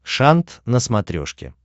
шант на смотрешке